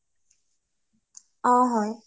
অ হয়